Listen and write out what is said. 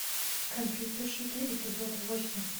компьютерщики эпизод восемь